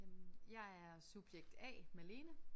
Jamen jeg er subjekt A Malene